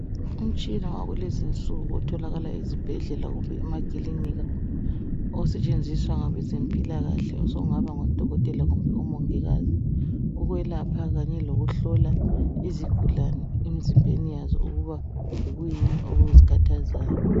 umtshina wakulezinsuku otholakala esibhedlela lasemaklinika osetshenziswa ngabeze mpilakahle sokungaba ngabo dokotela kumbe omongikazi ukwelapha kanye ukuhlola izigulane emzimbani yazo ukubona ukuthi yikuyini ouzikhathazayo